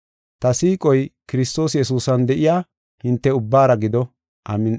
Ta siiqoy Kiristoos Yesuusan de7iya hinte ubbaara gido. Amin7i.